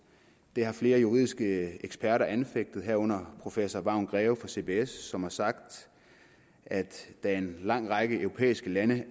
det har flere juridiske eksperter anfægtet herunder professor vagn greve fra cbs som har sagt at da en lang række europæiske lande